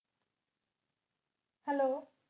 Hello